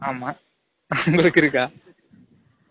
ஆமா, உங்கலுக்கு இருக்கா?